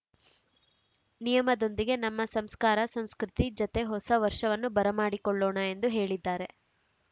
ನಿಯಮದೊಂದಿಗೆ ನಮ್ಮ ಸಂಸ್ಕರ ಸಂಸ್ಕೃತಿ ಜತೆ ಹೊಸ ವರ್ಷವನ್ನು ಬರಮಾಡಿಕೊಳ್ಳೋಣ ಎಂದು ಹೇಳಿದ್ದಾರೆ